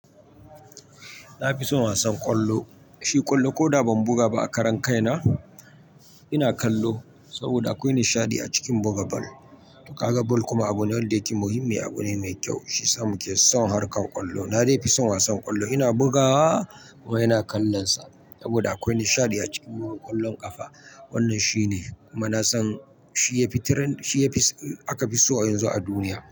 Na fi son wasan ƙwallo, shi ƙwallo ko da ban buga ba a karon kaina ina kallo saboda akwai nishaɗi a cikin buga ball. Kaga ball kuma abu ne da yake muhimmi abu ne mai kyau shiyasa muke son harkar ƙwallo. Na dai fi son wasan ƙwallo ina bugawa kuma ina kallon sa saboda akwai nishaɗi a cikin buga ƙwallon ƙafa. Wannan shi ne kuma na san shi yafi trending, shi aka fi so a yanzu a duniya.